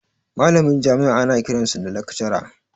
Malamin jami'a ana kiransa da lakcara